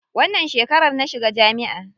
Wannan shekarar na shiga jami'a.